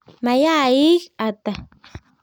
Mayaik Ata?